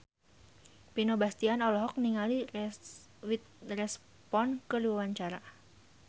Vino Bastian olohok ningali Reese Witherspoon keur diwawancara